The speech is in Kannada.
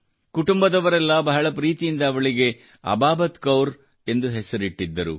ಕುಟುಂಬದವರೆಲ್ಲ ಬಹಳ ಪ್ರೀತಿಯಿಂದ ಅವಳಿಗೆ ಅಬಾಬತ್ ಕೌರ್ ಎಂದು ಹೆಸರಿಟ್ಟಿದ್ದರು